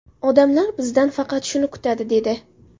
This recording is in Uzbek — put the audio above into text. Odamlar bizdan faqat shuni kutadi, – dedi.